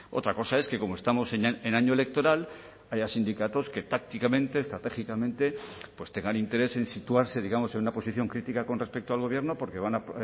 otra cosa es que como estamos en año electoral haya sindicatos que tácticamente estratégicamente tengan interés en situarse digamos en una posición crítica con respecto al gobierno porque van a